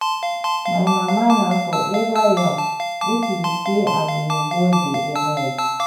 My mama na forever young, if you see am you go dey amazed